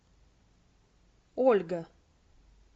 ольга